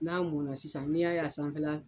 N'a munna sisan n'i y'a ye a sanfɛla